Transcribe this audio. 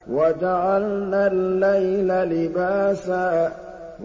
وَجَعَلْنَا اللَّيْلَ لِبَاسًا